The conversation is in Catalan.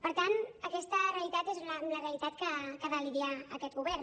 per tant aquesta realitat és amb la realitat que ha de lidiar aquest govern